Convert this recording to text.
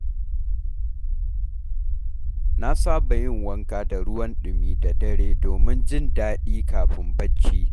Na saba yin wanka da ruwan ɗumi da dare domin jin daɗi kafin barci.